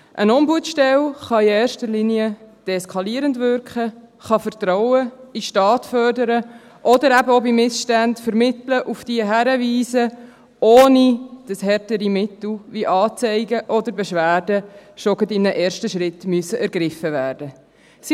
Eine Ombudsstelle kann in erster Linie deeskalierend wirken, kann Vertrauen in den Staat fördern oder eben auch bei Missständen vermitteln und auf diese hinwiesen, ohne dass härtere Mittel wie Anzeigen oder Beschwerden schon in einem ersten Schritt ergriffen werden müssen.